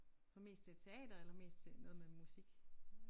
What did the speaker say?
Så mest til teater eller mest til noget med musik?